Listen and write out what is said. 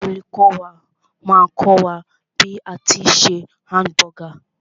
Olùkọ́ wà máà kọ́ wà ní bí a tí ń se hamburger.